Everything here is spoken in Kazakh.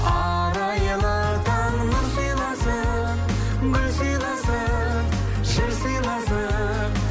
арайлы таң нұр сыйласын гүл сыйласын жыр сыйласын